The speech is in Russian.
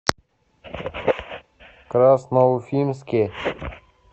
красноуфимске